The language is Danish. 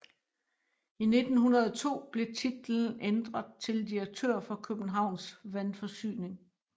I 1902 blev titlen ændret til direktør for Københavns Vandforsyning